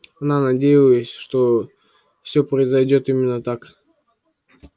она надеялась что все произойдёт именно так